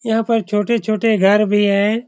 यह पर छोटे-छोटे घर भी हैं ।